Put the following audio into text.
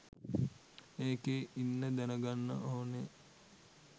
ඒකේ ඉන්න දැනගන්න ඕන